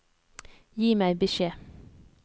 Gi meg beskjed